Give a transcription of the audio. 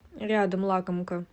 рядом лакомка